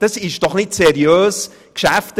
Das ist doch nicht seriös gearbeitet!